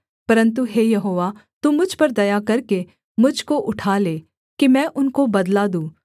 परन्तु हे यहोवा तू मुझ पर दया करके मुझ को उठा ले कि मैं उनको बदला दूँ